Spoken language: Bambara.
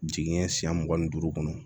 Jiginɲɛ siɲɛ mugan ni duuru kɔnɔ